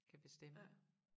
Kan bestemme